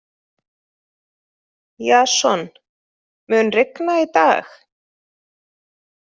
Jason, mun rigna í dag?